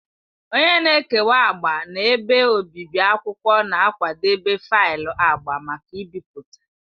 Onye na-ekewa agba na ebe obibi akwụkwọ na-akwadebe faịlụ agba maka ibipụta.